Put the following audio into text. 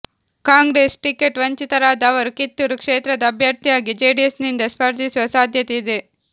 Congress ticket ವಂಚಿತರಾದ ಅವರು ಕಿತ್ತೂರು ಕ್ಷೇತ್ರದ ಅಭ್ಯರ್ಥಿಯಾಗಿ ಜೆಡಿಎಸ್ ನಿಂದ ಸ್ಪರ್ಧಿಸುವ ಸಾಧ್ಯತೆ ಇದೆ